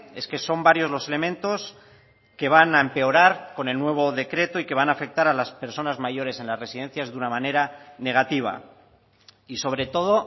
es que son varios los elementos que van a empeorar con el nuevo decreto y que van a afectar a las personas mayores en las residencias de una manera negativa y sobre todo